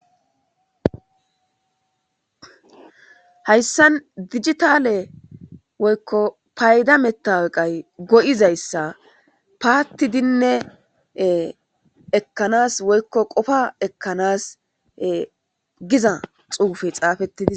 Hayssan dijitalle woyko paydda metawoqqeey goyzzassa pattidi ekanas ewoykko qoffa ekanas giza xefay xafetis..